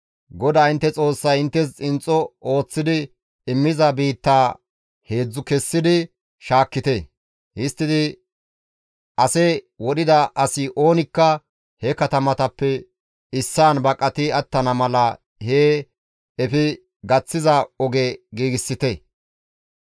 GODAA intte Xoossay inttes xinxxo ooththidi immiza biittaa heedzdzu kessi shaakkite; histtidi ase wodhida asi oonikka he katamatappe issaan baqati attana mala hee efi gaththiza oge giigsite.